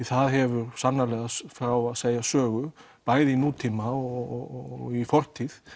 það hefur sannarlega frá að segja sögur bæði í nútíma og fortíð